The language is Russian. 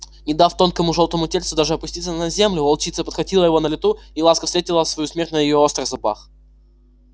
не дав тонкому жёлтому тельцу даже опуститься на землю волчица подхватила его на лету и ласка встретила свою смерть на её острых зубах